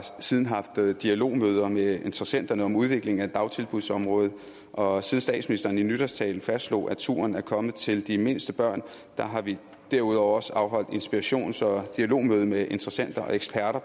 siden haft dialogmøder med interessenterne om udviklingen af dagtilbudsområdet og statsministeren i nytårstalen fastslog at turen er kommet til de mindste børn har vi derudover også afholdt inspirations og dialogmøde med interessenter og